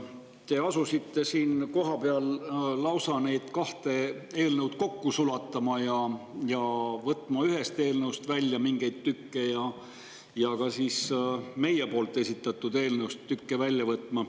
Te asusite siin kohapeal lausa neid kahte eelnõu kokku sulatama ning eelnõust ja ka meie esitatud eelnõust tükke välja võtma.